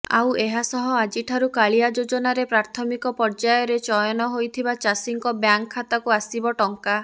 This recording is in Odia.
ଆଉ ଏହାସହ ଆଜିଠାରୁ କାଳିଆ ଯୋଜନାରେ ପ୍ରାଥମିକ ପର୍ୟ୍ୟାୟରେ ଚୟନ ହୋଇଥିବା ଚାଷୀଙ୍କ ବ୍ୟାଙ୍କ ଖାତାକୁ ଆସିବ ଟଙ୍କା